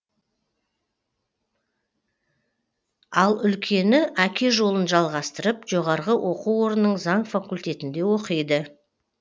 ал үлкені әке жолын жалғастырып жоғарғы оқу орнының заң факультетінде оқиды